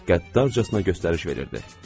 Qəddarcasına göstəriş verirdi.